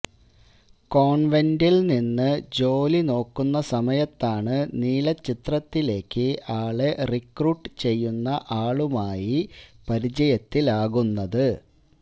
കോൺവെന്റ്വിൽ നിന്ന് ജോലി നോക്കുന്ന സമയത്താണ് നീലച്ചിത്രത്തിലേയ്ക്ക് ആളെ റിക്രൂട്ട് ചെയ്യുന്ന ആളുമായി പരിചയത്തിലാകുന്നത്